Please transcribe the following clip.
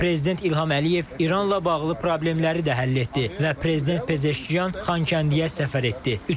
Prezident İlham Əliyev İranla bağlı problemləri də həll etdi və prezident Pezeşkyan Xankəndiyə səfər etdi.